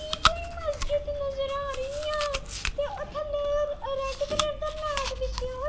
ਕੋਈ ਮਸਜਿਦ ਨਜ਼ਰ ਆ ਰਹੀ ਆ ਤੇ ਉਥੇ ਰੈਡ ਕਲਰ ਦਾ ਮੈਟ ਵਿਛਆ ਹੋਯਾ.